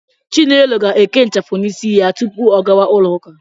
Chinelo ga-eke ịchafụ n'isi ya tupu ọ gawa ụlọụka.